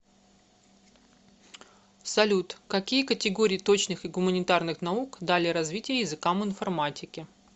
салют какие категории точных и гуманитарных наук дали развитие языкам информатики